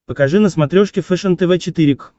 покажи на смотрешке фэшен тв четыре к